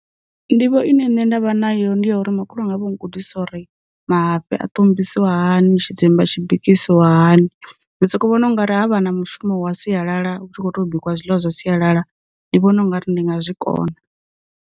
Nḓivho ine nṋe ndavha nayo ndi ya uri, makhulu wanga vha u gudisa uri mafhi a ṱombisiwa hani, tshidzimba tshi bikisiwa hani, ndi soko vhona ungari havha na mushumo wa sialala hu tshi kho to bikiwa zwiḽiwa zwa sialala, ndi vhona ungari ndi nga zwikona.